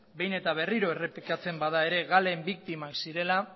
behin eta berriro errepikatzen bada ere galen biktimak zirela